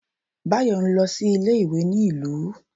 Bayo n lọ sí ilé ìwé ní ìlú